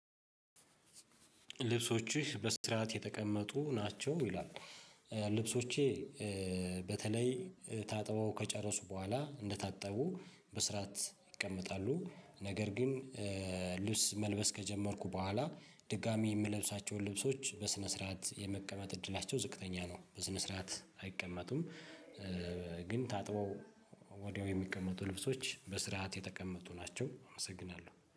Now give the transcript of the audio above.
ልብሶችህ በስራት የተቀመጡ ናቸው ይላል? ልብሶቼ በተለይ ታጥበው ከጨረሱ በኋላ እንደታጠቡ በስራት ይቀመጣሉ። ነገር ግን ልብስ መልበስ ከጀመርኩ በኋላ ድጋሚ የምለብሳቸውን ልብሶች በስነ ስርዓት የመቀመጥ እድላቸው ዝቅተኛ ነው። በስነ ስርዓት አይቀመጡም። ግን ታጥበው ወዲያው የሚቀመጡ ልብሶች በስርዓት የተቀመጡ ናቸው። አመሰግናለሁ